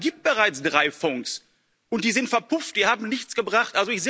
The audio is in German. Aber es gibt bereits drei Fonds und die sind verpufft, die haben nichts gebracht.